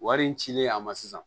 Wari in cilen a ma sisan